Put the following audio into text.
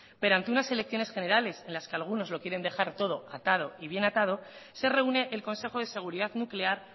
pero ante unas elecciones generales en las que algunos lo quieren dejar todo atado y bien atado se reúne el consejo de seguridad nuclear